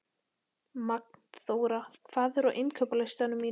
Magnþóra, hvað er á innkaupalistanum mínum?